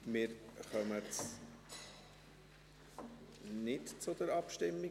Wir kommen … nicht zur Abstimmung.